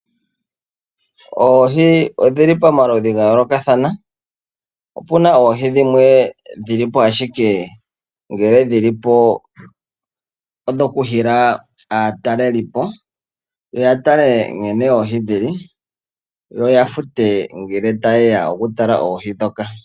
Oohi odhi li pamaludhi gayoolokathana. Opuna oohi dhimwe dhi li po ashike dhokuhila aatalelipo , yoya tale oohi nkene dhili , yo yafute ngele tayeya okutala oohi ndhoka.